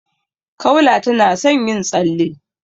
Kaula tana son yin tsalle.